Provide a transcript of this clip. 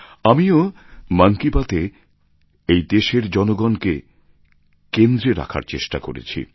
আমিও মন কি বাত এ এই দেশের জনগণকে কেন্দ্রে রাখার চেষ্টা করেছি